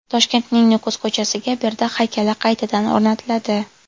Toshkentning Nukus ko‘chasiga Berdaq haykali qaytadan o‘rnatiladi.